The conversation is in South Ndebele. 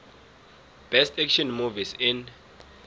best action movies in